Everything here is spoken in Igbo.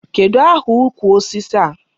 Kedụ aha ukwu osisi a?